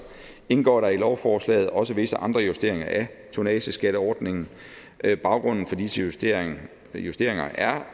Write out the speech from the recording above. indgår der i lovforslaget også visse andre justeringer af tonnageskatteordningen baggrunden for disse justeringer justeringer er